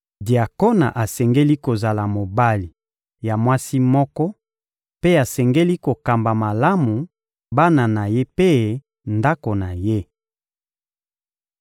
Diakona asengeli kozala mobali ya mwasi moko mpe asengeli kokamba malamu bana na ye mpe ndako na ye.